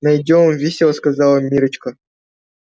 найдём весело сказала миррочка